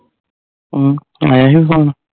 ਊ ਆਇਆ ਸੀ phone